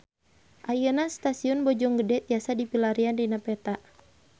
Ayeuna Stasiun Bojonggede tiasa dipilarian dina peta